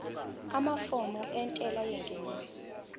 amafomu entela yengeniso